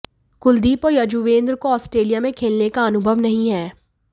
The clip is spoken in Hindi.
कुलदीप और युजवेंद्र को आस्ट्रेलिया में खेलने का अनुभव नहीं है